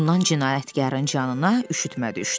Bundan cinayətkarın canına üşütmə düşdü.